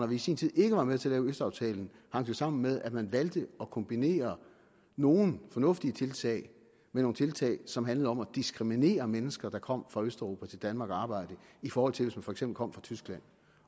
vi i sin tid ikke var med til at lave østaftalen hang det sammen med at man valgte at kombinere nogle fornuftige tiltag med nogle tiltag som handlede om at diskriminere mennesker der kom fra østeuropa til danmark for at arbejde i forhold til hvis man for eksempel kom fra tyskland